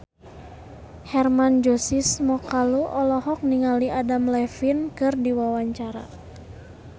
Hermann Josis Mokalu olohok ningali Adam Levine keur diwawancara